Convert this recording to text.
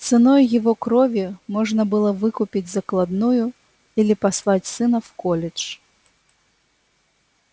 ценой его крови можно было выкупить закладную или послать сына в колледж